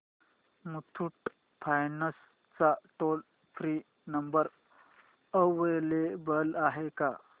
Muthoot finance चा toll free number available आहे का